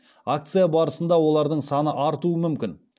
акция барысында олардың саны артуы мүмкін